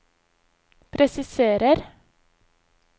presiserer